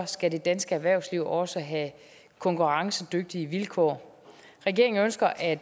skal det danske erhvervsliv også have konkurrencedygtige vilkår regeringen ønsker at